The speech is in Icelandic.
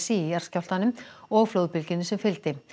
í jarðskjálftanum og flóðbylgjunni sem fylgdi